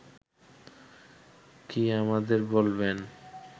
কি আমাদের বলবেন